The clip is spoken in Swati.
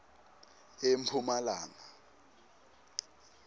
emphumalanga